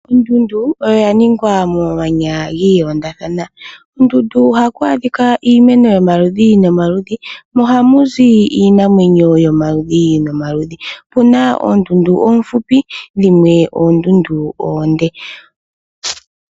Ondundu oya ningwa momanya ga londathana kondundu ohaku adhika iimeno yomaludhi nomaludhi mo ohamu zi iinamwenyo yomaludhi nomaludhi po opuna opuna oondundu oofupi dho dhimwe oondundu oonde.